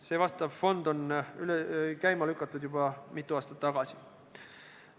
See vastav fond lükati käima juba mitu aastat tagasi.